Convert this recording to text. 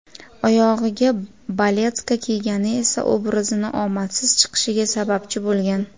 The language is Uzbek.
Oyog‘iga baletka kiygani esa obrazini omadsiz chiqishiga sababchi bo‘lgan.